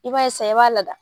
I b'a sisan i b'a lada.